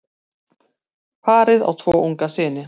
Parið á tvo unga syni.